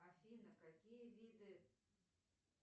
афина какие виды